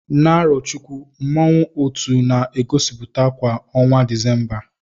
Na Arochukwu, mmanwụ otu na-egosiputa kwa ọnwa Disemba.